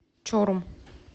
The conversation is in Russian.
чорум